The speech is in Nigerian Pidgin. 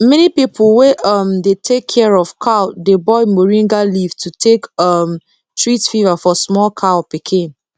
many people wey um dey take care of cow dey boil moringa leaf to take um treat fever for small cow pikin